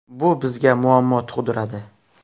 Bu bizga muammo tug‘diradi.